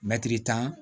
Mɛtiri tan